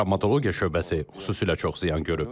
Travmatologiya şöbəsi xüsusilə çox ziyan görüb.